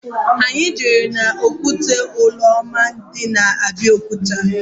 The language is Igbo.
Anyị jere n'okwute Olumo dị na Abiokuta